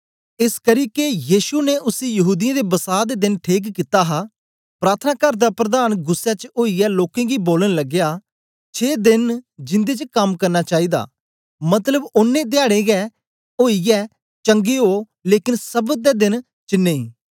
एसकरी के यीशु ने उसी यहूदीयें दे बसां दे देन ठीक कित्ता हा प्रार्थनाकार दा प्रधान गुस्सै च ओईयै लोकें गी बोलन लगया छें देन न जिन्दे च कम्म करना चाईदा मतलब ओनें धयाडें गै आईयै चंगे यो लेकन सब्त दे देन च नेई